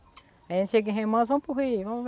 A gente chega em Remanso, vamos para o Rio. Vamo